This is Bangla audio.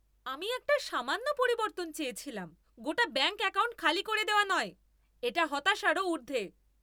আমি একটা সামান্য পরিবর্তন চেয়েছিলাম, গোটা ব্যাঙ্ক অ্যাকাউন্ট খালি করে দেওয়া নয়! এটা হতাশারও ঊর্ধ্বে।